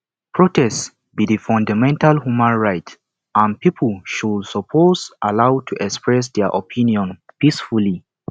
protest be di fundamental human right and people should suppose allowed to express dia opinions peacefully